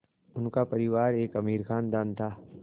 उनका परिवार एक अमीर ख़ानदान था